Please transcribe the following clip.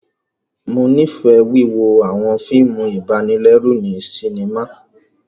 Mo nifẹ wíwo awọn fíìmù ibanilẹru ni sinima